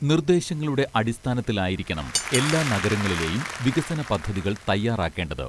നിർദ്ദേശങ്ങളുടെ അടിസ്ഥാനത്തിലായിരിക്കണം എല്ലാ നഗരങ്ങളിലെയും വികസന പദ്ധതികൾ തയ്യാറാക്കേണ്ടത്